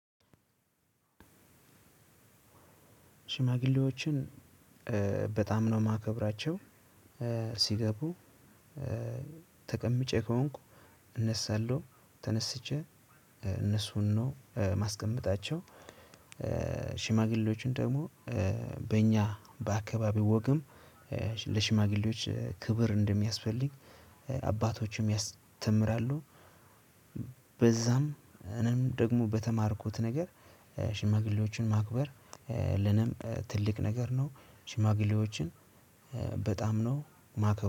ሽማግሌዎችን በጣም ነው ማከብራቸው ሲገቡ ተቀምጬ ከሆንኩ እነሳለሁ ተነስቼ እነሱን ነው ማስቀመጣቸው። ሽማግሌዎችን ደግሞ በእኛ በአካባቢው ወግም ለሽማግሌዎች ክብር እንደሚያስፈልግ አባቶችም ያስተምራሉ። በዛም እኔም ደግሞ በተማርኩት ነገር ሽማግሌዎችን ማክበር ለነም ትልቅ ነገር ነው። ሽማግሌዎችን በጣም ነው ማክበ